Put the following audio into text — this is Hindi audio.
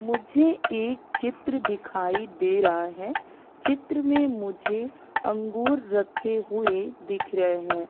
मुझे एक चित्र दिखाई दे रहा है चित्र में मुझे अंगूर रखे हुए दिख रहे हैं।